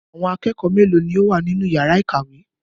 Àwọn akẹ́kọ̀ọ́ mélòó ni ó wà nínú ìyàrá-ìkàwé?